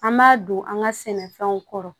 An b'o an ka sɛnɛfɛnw kɔrɔ